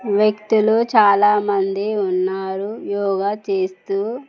వ్యక్తులు చాలామంది ఉన్నారు యోగ చేస్తూ.